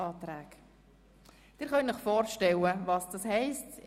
Sie können sich vorstellen, was dies heisst.